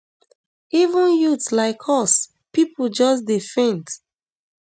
even youths like us pipo just dey faint